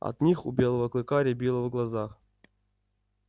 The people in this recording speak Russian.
от них у белого клыка рябило в глазах